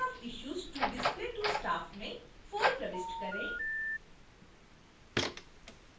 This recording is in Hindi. number of issues to display to staff में 4 प्रविष्ट करें